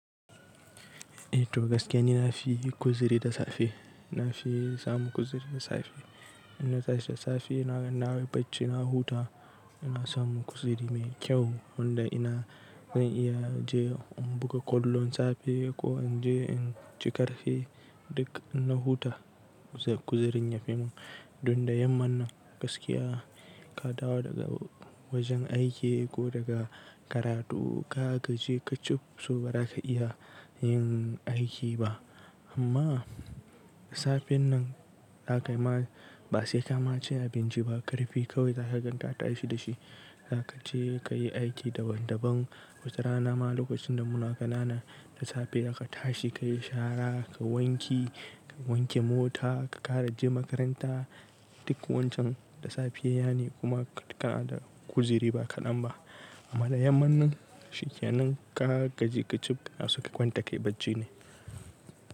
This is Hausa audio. Eh to gaskiya ni na fi kuziri da safe, na fi samun kuziri da safe. Inna tashi da safe nayi bacci na huta, ina samun kuziri mai kyau wanda ina zan iya je in buga kwallon safe ko in je in ci karfe duk in na huta kuzirin ya fi mun. Don da yaman nan gaskiya ka dawo daga wajen aiki ko daga karatu ka gaje ka cib so ba za ka iya yin aiki ba. Amma safen nan ba sai ka ma ci abinci ba, karfi kawai za ka gan ta tashi da shi. Za ka je ka yi aiki daban daban, watarana ma lokacin da muna ƙanana da safe da ka tashi ka yi shara, kayi wanki, ka wanke mota, ka ƙara je makaranta. Duk wancan da safiya ne kuma kana da uziri ba kaɗan ba. Amma da yamman nan shikenan ka gaje ka cib aske kwanta kai bacci ne.